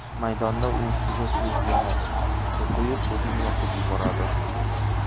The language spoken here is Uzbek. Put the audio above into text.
Maydonda u ustiga suyuq yonilg‘i quyib, o‘zini yoqib yuboradi.